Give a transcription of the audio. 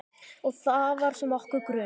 Og það var sem okkur grunaði.